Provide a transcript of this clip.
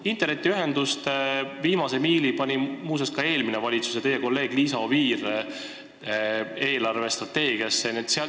Viimase miili kava pani eelarvestrateegiasse muuseas ka eelmine valitsus, nimelt teie kolleeg Liisa Oviir.